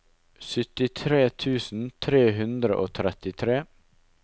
syttitre tusen tre hundre og trettitre